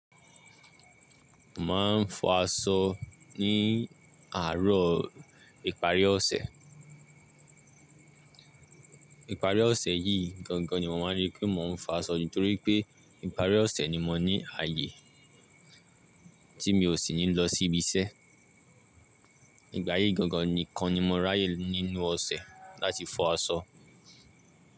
Màá ń fọ aṣọ ní àárọ̀ ìparí ọ̀sẹ̀. Ìparí ọ̀sẹ̀ yìí gangan ni màá mọ̀ lé pé màá ń fọ aṣọ nítorí pé ìparí ọ̀sẹ̀ ni mo ní ààyè tí mi ò sì ní lọ sí ibi iṣẹ́. Ìgbà yìí gangan nìkan ni mo ráyè nínú ọ̀sẹ̀ láti fọ aṣọ.